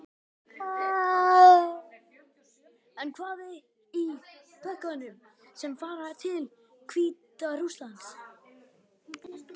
En hvað er í pökkunum sem fara til Hvíta-Rússlands?